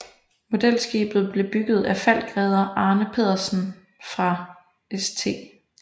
Modelskibet blev bygget af falckredder Arne Pedersen fra St